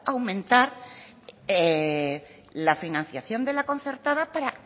aumentar la financiación de la concertada para